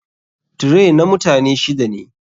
Tray na mutane shida ne.